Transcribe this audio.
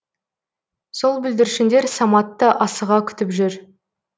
сол бүлдіршіндер саматты асыға күтіп жүр